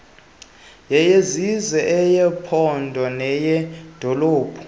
yeyesizwe eyephondo neyedolophu